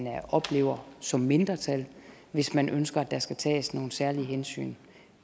oplever som mindretal hvis man ønsker at der skal tages nogle særlige hensyn